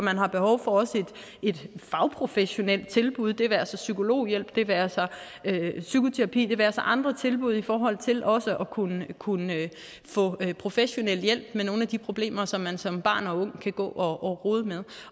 har behov for et fagprofessionelt tilbud det være sig psykologhjælp det være sig psykoterapi det være sig andre tilbud i forhold til også at kunne kunne få professionel hjælp til nogle af de problemer som man som barn og ung kan gå og rode med